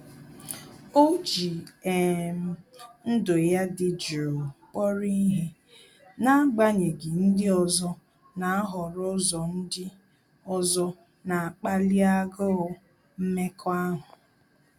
Ọ́ jì um ndụ́ ya dị̀ jụụ kpọ́rọ́ ihe n’ágbànyéghị́ ndị ọzọ nà-àhọ́rọ́ ụ́zọ́ ndị ọzọ nà-ákpáli águụ mmekọahụ.